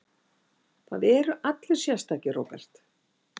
Það eru allir sérstakir, Róbert.